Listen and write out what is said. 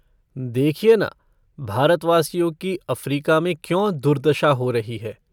देखिए न, भारतवासियों की अफ़्रीका में क्यों दुर्दशा हो रही है।